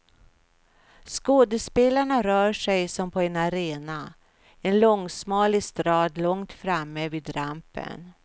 Skådespelarna rör sig som på en arena, en långsmal estrad långt framme vid rampen.